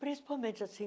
Principalmente assim,